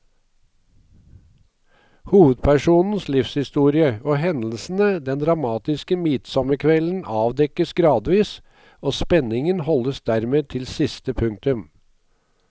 Hovedpersonens livshistorie og hendelsene den dramatiske midtsommerkvelden avdekkes gradvis, og spenningen holdes dermed til siste punktum.